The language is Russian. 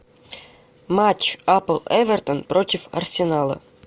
матч апл эвертон против арсенала